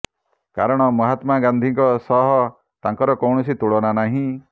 କାରଣ ମହାତ୍ମା ଗାନ୍ଧୀଙ୍କ ସହ ତାଙ୍କର କୌଣସି ତୁଳନା ନାହିଁ